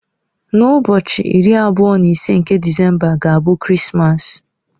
N'ụbọchị iri abụọ na ise nke Disemba ga-abụ Krismas.